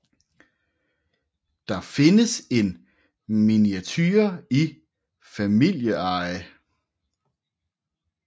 Der findes en miniature i familieeje